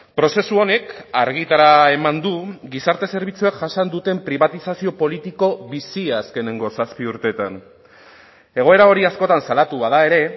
prozesu honek argitara eman du gizarte zerbitzuek jasan duten pribatizazio politiko bizia azkeneko zazpi urteetan egoera hori askotan salatu bada ere